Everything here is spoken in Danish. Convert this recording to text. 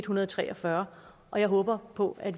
hundrede og tre og fyrre og jeg håber på at